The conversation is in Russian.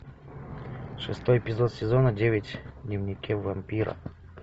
шестой эпизод сезона девять дневники вампира